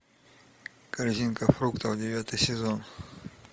корзинка фруктов девятый сезон